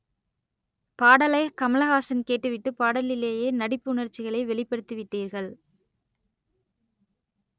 பாடலை கமலஹாசன் கேட்டுவிட்டு பாடலிலேயே நடிப்பு உணர்ச்சிகளை வெளிப்படுத்தி விட்டீர்கள்